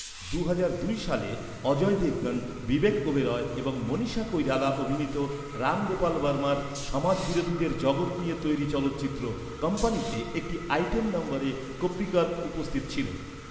দুহাজার দুই সালে, অজয় দেবগন, বিবেক ওবেরয় এবং মনীষা কৈরালা অভিনীত রাম গোপাল বর্মার সমাজবিরোধীদের জগৎ নিয়ে তৈরি চলচ্চিত্র ‘কম্পানিতে’ একটি আইটেম নম্বরে কোপ্পিকর উপস্থিত ছিলেন।